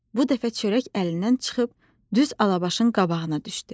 Bu dəfə çörək əlindən çıxıb düz Alabaşın qabağına düşdü.